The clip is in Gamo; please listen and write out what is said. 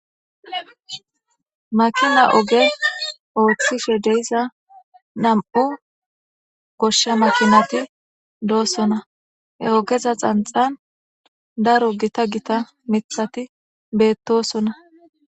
Makina oge oothishe diza nam7u goshsha makinati doosona he ogeza xanxan daro daro gita mithati doosona.